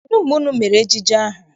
Kedụ mgbe unu mere ejije ahụ?